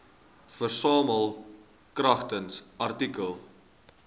versamel kragtens artikel